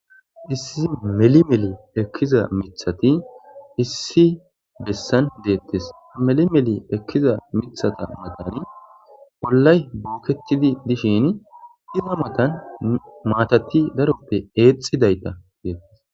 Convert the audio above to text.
issi meli meli ekkiza mithati issi bessan deettes meli meli ekkiza mithata matan bollay buuketidi dishin iza matan maatati daroppe eexidayta deettes